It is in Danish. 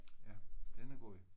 Ja den er god